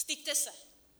Styďte se!